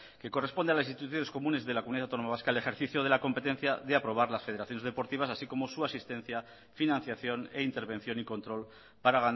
que corresponde a las instituciones comunes de la comunidad autónoma vasca el ejercicio de la competencia y aprobar las federaciones deportivas así como su asistencia financiación e intervención y control para